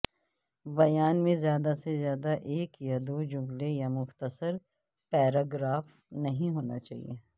بیان میں زیادہ سے زیادہ ایک یا دو جملے یا مختصر پیراگراف نہیں ہونا چاہئے